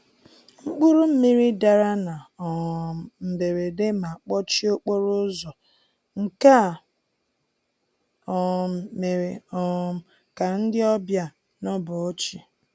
Mkpụrụ mmiri dara na um mberede ma kpọchie okporo ụzọ, nke a um mere um ka ndị ọbịa nọbọọchi.